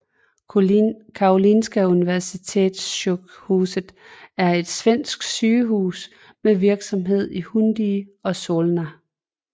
Karolinska Universitetssjukhuset er et svensk sygehus med virksomhed i Huddinge og Solna